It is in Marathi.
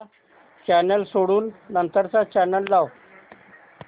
हा चॅनल सोडून नंतर चा चॅनल लाव